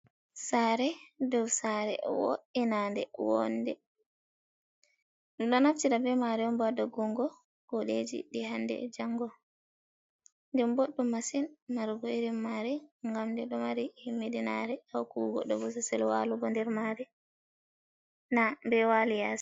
Saare dou saare wo'inande wonde ɗum ɗo naftira be maare on ba ha doggungo kuuɗeiji ɗi hande e jango den boɗɗu masin marugo irin maare gam nde ɗo mari himmiɗinare ha hokkugo goɗɗo bososel walugo nder maare, na be wali yaasi.